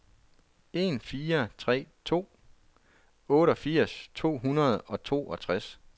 en fire tre to otteogfirs to hundrede og toogtres